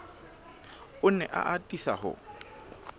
o ne a atisa ho